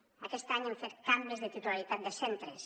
aquest any hem fet canvis de titularitat de centres